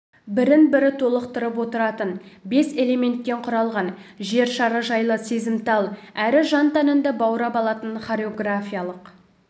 бірін-бірі толықтырып отыратын бес элементтен құралған жер шары жайлы сезімтал әрі жан-тәніңді баурап алатын хореографиялық